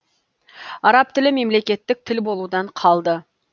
араб тілі мемлекеттік тіл болудан қалды